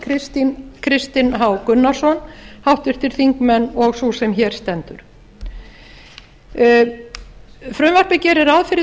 backman kristinn h gunnarsson háttvirtir þingmenn og sú sem hér stendur frumvarpið gerir ráð fyrir